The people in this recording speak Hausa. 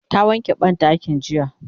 ta wanke banɗakin jiya